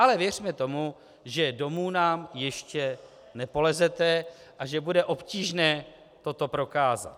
Ale věřme tomu, že domů nám ještě nepolezete a že bude obtížné toto prokázat.